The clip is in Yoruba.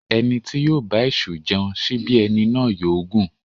Èní bá ń jẹun síbí, èní yóò gún.